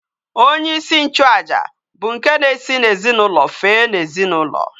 Onye isi nchu aja bu nke na esi na ezinaulo fee na ezinaulo